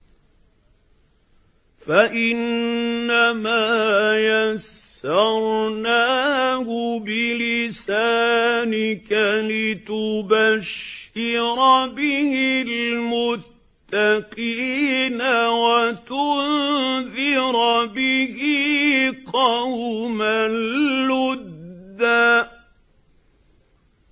فَإِنَّمَا يَسَّرْنَاهُ بِلِسَانِكَ لِتُبَشِّرَ بِهِ الْمُتَّقِينَ وَتُنذِرَ بِهِ قَوْمًا لُّدًّا